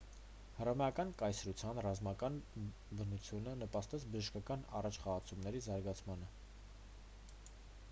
հռոմեական կայսրության ռազմական բնությունը նպաստեց բժշկական առաջխաղացումների զարգացմանը